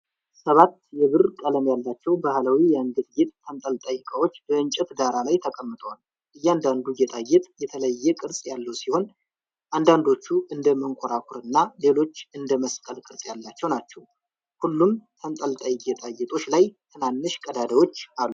ሰባት የብር ቀለም ያላቸው ባህላዊ የአንገት ጌጥ ተንጠልጣይ ዕቃዎች በእንጨት ዳራ ላይ ተቀምጠዋል። እያንዳንዱ ጌጣጌጥ የተለየ ቅርጽ ያለው ሲሆን፣ አንዳንዶቹ እንደ መንኮራኩር እና ሌሎች እንደ መስቀል ቅርጽ ያላቸው ናቸው። ሁሉምተንጠልጣይ ጌጣጌጦች ላይ ትናንሽ ቀዳዳዎች አሉ።